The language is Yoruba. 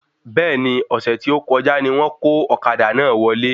Bẹ́ẹ̀ni, ọ̀sẹ̀ tí o kọjá ni wón kó ọ̀kadà náà wọlé